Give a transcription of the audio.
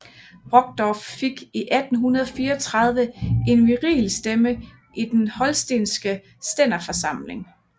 Brockdorff fik i 1834 en virilstemme i den holstenske stænderforsamling